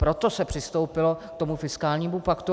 Proto se přistoupilo k tomu fiskálnímu paktu.